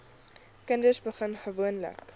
kinders begin gewoonlik